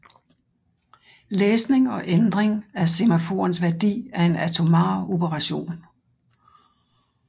Læsning og ændring af semaforens værdi er en atomar operation